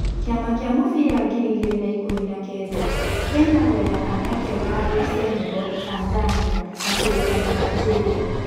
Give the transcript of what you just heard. Kĩama kĩa mũbira ngiri igĩrĩ na ikũmi na kenda: Kenya gwetha kanya kega harĩ Cenego, Tazania, na kũrĩkĩa na Aligeria